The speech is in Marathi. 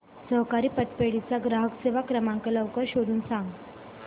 सहकारी पतपेढी चा ग्राहक सेवा क्रमांक लवकर शोधून सांग